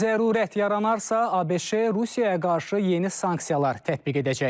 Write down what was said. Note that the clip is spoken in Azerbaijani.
Zərurət yaranarsa, ABŞ Rusiyaya qarşı yeni sanksiyalar tətbiq edəcək.